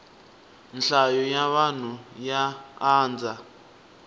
nhlayo ya vanhu ya andza